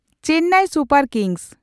Chennai super kings